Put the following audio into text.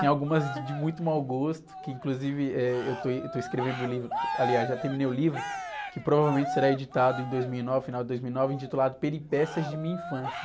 Tinha algumas de muito mau gosto, que inclusive, eh, eu estou, eu estou escrevendo o livro, aliás, já terminei o livro, que provavelmente será editado em dois mil e nove, final de dois mil e nove, intitulado Peripécias de Minha Infância.